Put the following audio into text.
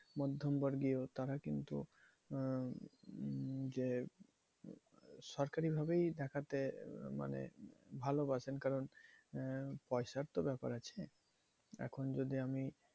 মধ্যম বর্গীয় তারা কিন্তু আহ উম যে সরকারি ভাবেই দেখাতে মানে ভালো বাসেন। কারণ আহ পয়সার তো ব্যাপার আছে। এখন যদি আমি